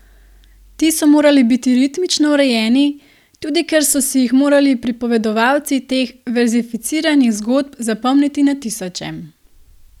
Ti so morali biti ritmično urejeni, tudi ker so si jih morali pripovedovalci teh verzificiranih zgodb zapomniti na tisoče.